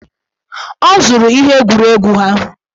Ọ zụrụ ihe egwuregwu ha.